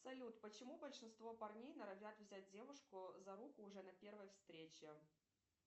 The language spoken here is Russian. салют почему большинство парней норовят взять девушку за руку уже на первой встрече